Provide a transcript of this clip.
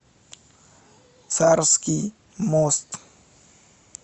царский мост